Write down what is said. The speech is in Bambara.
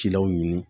Cilaw ɲini